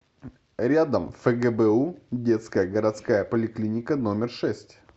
рядом фгбу детская городская поликлиника номер шесть